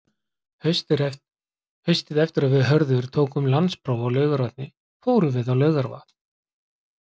Haustið eftir að við Hörður tókum landspróf á Laugarvatni fórum við á Laugarvatn.